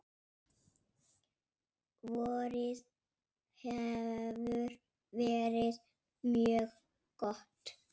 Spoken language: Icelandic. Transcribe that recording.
Vorið hefur verið mjög gott.